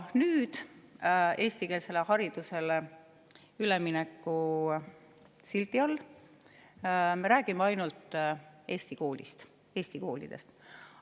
Nüüd me räägime eestikeelsele haridusele ülemineku sildi all ainult eesti koolist, Eesti koolidest.